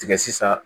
Tigɛ sisan